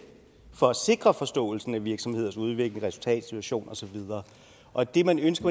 for at sikre forståelsen af virksomheders udvikling resultat situation og så videre og det man ønsker